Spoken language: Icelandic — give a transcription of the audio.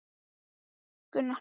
Jóa sem stormaði inn í eldhúsið.